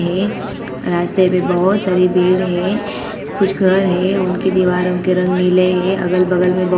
रास्ते में बहुत सारी भीड़ है कुछ घर है उनके दीवार उनके रंग नीले हैं अगल-बगल में बहुत सारे पेड़--